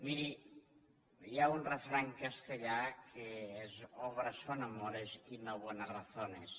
miri hi ha un refrany castellà que és obras son amores y no buenas razones